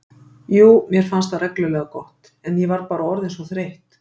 Jú, mér fannst það reglulega gott, en ég var bara orðin svo þreytt.